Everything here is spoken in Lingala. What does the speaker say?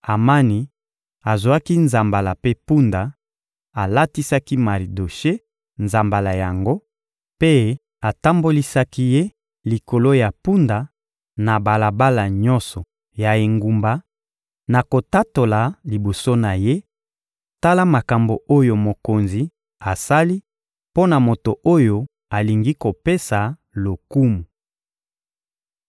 Amani azwaki nzambala mpe mpunda, alatisaki Maridoshe nzambala yango mpe atambolisaki ye likolo ya mpunda na balabala nyonso ya engumba na kotatola liboso na ye: «Tala makambo oyo mokonzi asali mpo na moto oyo alingi kopesa lokumu!»